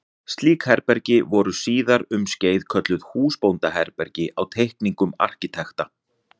Slík herbergi voru síðar um skeið kölluð húsbóndaherbergi á teikningum arkitekta.